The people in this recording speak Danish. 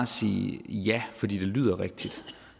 sige ja fordi det lyder rigtigt